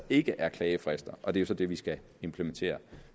ikke er klagefrister og det er så det vi skal implementere